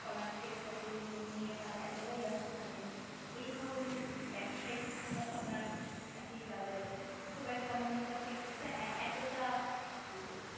ফলান সে ফসলগুলো নিয়ে তারা এতটাই ব্যস্ত থাকেন যে এ ধরনের ব্যবসায়িক চিন্তাভাবনার আর কি তাদের খুব একটা মনস্তাত্ত্বিক দিকটা এ এতটা কিবোলব